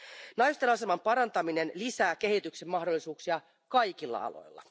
Naisten aseman parantaminen lisää kehityksen mahdollisuuksia kaikilla aloilla.